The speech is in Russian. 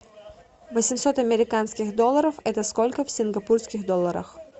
восемьсот американских долларов это сколько в сингапурских долларах